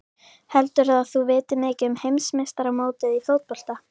Heldurðu að þú vitir mikið um heimsmeistaramótið í fótbolta?